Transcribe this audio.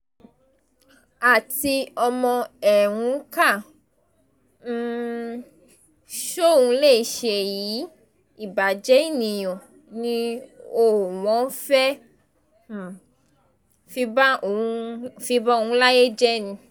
àti ọmọ ẹ̀ ń kà um sóun léṣe yìí ìbàjẹ́ ènìyàn ni o wọ́n fẹ́ẹ́ um fi ba òun láyé jẹ́ ni